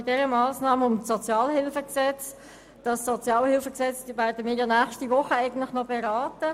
Bei dieser Massnahme geht es um das Sozialhilfegesetz (SHG), welches wir nächste Woche beraten werden.